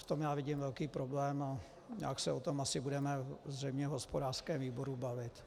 V tom já vidím velký problém a nějak se o tom asi budeme zřejmě v hospodářském výboru bavit.